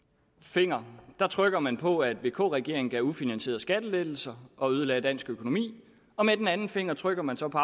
finger trykker man på at vk regeringen gav ufinansierede skattelettelser og ødelagde dansk økonomi og med den anden finger trykker man så på